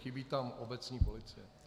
Chybí tam "obecní policie".